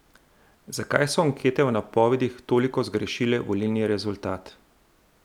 Zakaj so ankete v napovedih toliko zgrešile volilni rezultat?